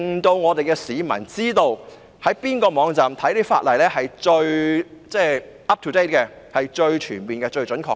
這樣市民便可知道哪個網站所載的法例是最 up-to-date、最全面和最準確的。